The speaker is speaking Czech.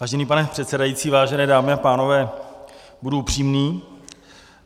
Vážený pane předsedající, vážené dámy a pánové, budu upřímný.